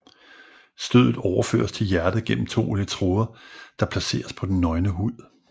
Stødet overføres til hjertet gennem to elektroder der placeres på den nøgne hud